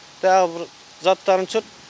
тағы бір заттарын түсірт